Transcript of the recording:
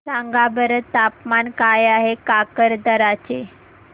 सांगा बरं तापमान काय आहे काकरदरा चे